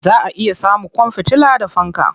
Za a iya samun kwan fitila da fanka.